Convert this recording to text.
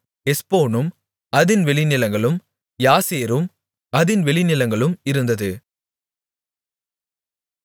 எஸ்போனும் அதின் வெளிநிலங்களும் யாசேரும் அதின் வெளிநிலங்களும் இருந்தது